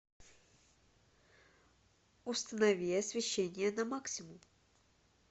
установи освещение на максимум